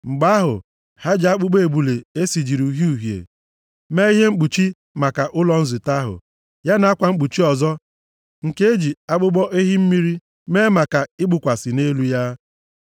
Mgbe ahụ, ha ji akpụkpọ ebule e sijiri uhie uhie mee ihe mkpuchi maka ụlọ nzute ahụ, ya na akwa mkpuchi ọzọ nke e ji akpụkpọ ehi mmiri mee maka ịkpụkwasị nʼelu ya.